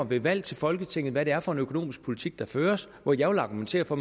ved valg til folketinget bestemmer hvad det er for en økonomisk politik der føres hvor jeg vil argumentere for